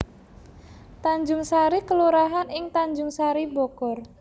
Tanjungsari kelurahan ing Tanjungsari Bogor